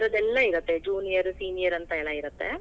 ಆತರದ್ ಎಲ್ಲಾ ಇರತ್ತೆ, junior, senior ಅಂತಾ ಎಲ್ಲಾ ಇರತ್ತೆ.